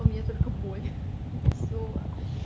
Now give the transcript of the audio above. у меня только боль и все